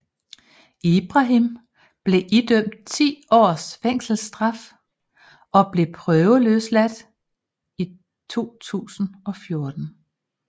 Ibrahim blev idømt ti års fængselsstraf og blev prøveløsladt i 2014